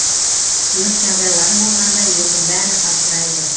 өрт жағдайлары болғанда елдің бәрі абдырайды